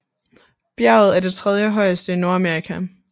Bjerget er det tredjehøjeste i Nordamerika